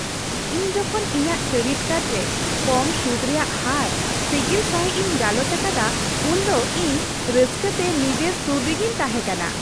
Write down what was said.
ᱤᱧ ᱡᱚᱠᱷᱚᱱ ᱤᱧᱟᱹᱜ ᱠᱨᱮᱰᱤᱴ ᱠᱟᱨᱰ ᱨᱮ ᱠᱚᱢ ᱥᱩᱫᱷ ᱨᱮᱭᱟᱜ ᱦᱟᱨ ᱥᱤᱜᱤᱞ ᱥᱟᱹᱦᱤᱡ ᱤᱧ ᱜᱟᱞᱚᱪ ᱟᱠᱟᱫᱟ ᱩᱱᱫᱚ ᱤᱧ ᱨᱟᱹᱥᱠᱟᱹᱛᱮ ᱱᱤᱡᱮᱨ ᱥᱩᱨ ᱨᱮᱜᱤᱧ ᱛᱟᱦᱮᱸ ᱠᱟᱱᱟ ᱾